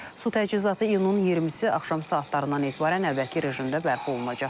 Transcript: Su təchizatı iyunun 20-si axşam saatlarından etibarən əvvəlki rejimdə bərpa olunacaq.